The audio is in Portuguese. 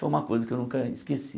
Foi uma coisa que eu nunca esqueci.